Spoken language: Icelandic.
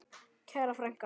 Kæra frænka.